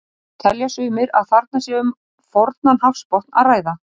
Telja sumir að þarna sé um fornan hafsbotn að ræða.